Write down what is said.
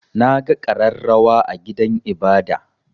Na ga ƙararrawa a gidan ibada.